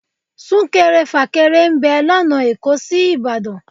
Súnkẹrẹ fàkẹrẹ ń bẹ lọ́nà èkó sí Ìbàdàn